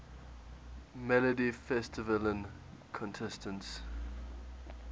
melodifestivalen contestants